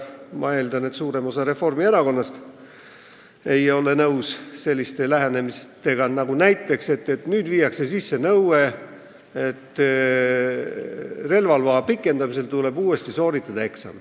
Ma eeldan, et ka suurem osa Reformierakonnast ei ole nõus näiteks sellise lähenemisega, et viiakse sisse nõue, et relvaloa pikendamisel tuleb eksam uuesti sooritada.